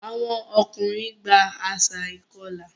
Àwọn ọkùnrin gba àṣà ìkọlà.